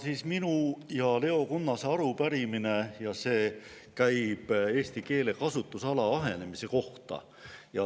See on minu ja Leo Kunnase arupärimine ja see käib eesti keele kasutusala ahenemise kohta.